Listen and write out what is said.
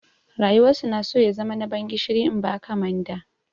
Rayuwar su na so ya zama na ban gishiri in ba ka manda.